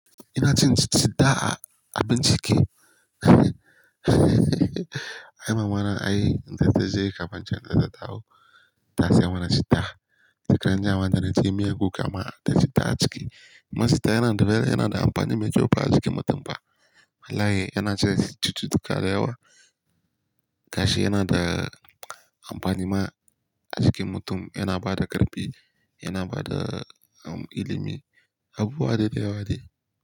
Ina cin citta a, a bincike. Ai mamana ai, in zata je Kafanchan zata dawo. Ta siya mana citta. Shekaran jiya ma da naci miyar kuka ma da citta a ciki. Kuma citta yana da rana, yana da amfani mai kyau ba a cikin mutum ba. Wallai yana cire cuttutuka da yawa. Gashi yana da amfani ma a jikin mutum, yana bada ƙarfi, yana bada um, ilimi. Abu buwa dai da yawa dai.